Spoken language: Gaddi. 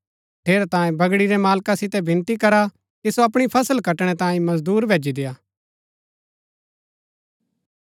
ठेरैतांये बगड़ी रै मालका सितै विनती करा कि सो अपणी फसल कटणै तांयें मजदूर भैजी देय्आ